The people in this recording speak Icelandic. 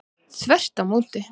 Þvert á móti.